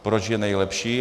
Proč je nejlepší.